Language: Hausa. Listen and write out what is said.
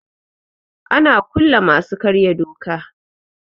Ana kulle masu karya doka.